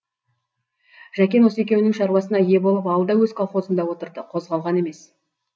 жәкен осы екеуінің шаруасына ие болып ауылда өз колхозында отырды қозғалған емес